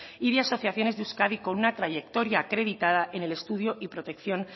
y de asociaciones de euskadi con una trayectoria acreditada en el estudio y protección